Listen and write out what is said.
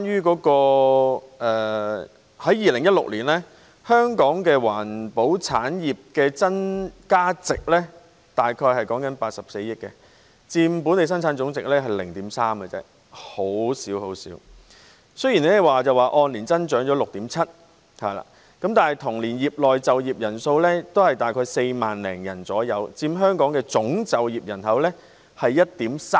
此外 ，2016 年香港環保產業的增加值約為84億元，佔本地生產總值 0.3% 而已，比率很小；雖然按年增長 6.7%， 但同年業內就業人數約 44,300 人，佔香港總就業人數 1.3%。